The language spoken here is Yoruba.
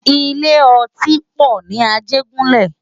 Ilé òtín pò ni Ajegunle